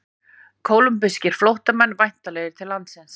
Kólumbískir flóttamenn væntanlegir til landsins